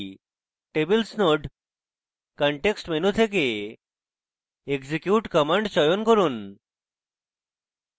tables node context menu থেকে execute command চয়ন করুন